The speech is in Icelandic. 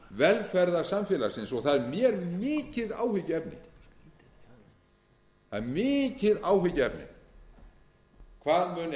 velferðarsamfélagsins það er mér mikið áhyggjuefni hvað muni henda íslenskt velferðarsamfélag ef